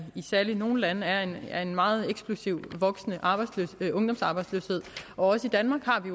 særligt i nogle lande er en er en meget eksplosivt voksende ungdomsarbejdsløshed også i danmark har vi